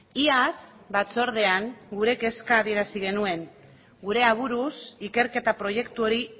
iaz batzordean gure kezka adierazi genuen gure aburuz ikerketa proiektu hori